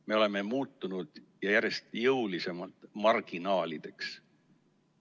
Me oleme muutunud – ja järjest jõulisemalt – marginaalideks.